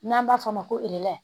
N'an b'a fɔ o ma ko